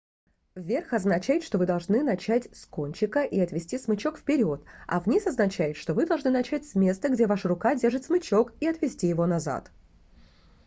вверх означает что вы должны начать с кончика и отвести смычок вперёд а вниз означает что вы должны начать с места где ваша рука держит смычок и отвести его назад